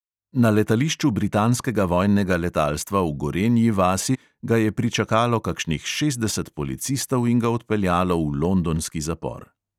Na letališču britanskega vojnega letalstva v gorenji vasi ga je pričakalo kakšnih šestdeset policistov in ga odpeljalo v londonski zapor.